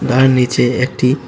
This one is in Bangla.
তার নিচে একটি--